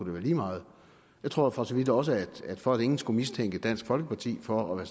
være lige meget jeg tror for så vidt også at for at ingen skal mistænke dansk folkeparti for at